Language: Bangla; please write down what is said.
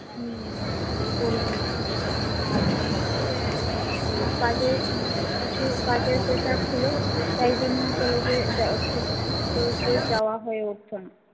হম করিনি আর কাজে উম কিছু কাজের pressure ছিল তাই জন্য কলেজে যাওয়া সু রোজ রোজ যাওয়া হয়ে উঠতো না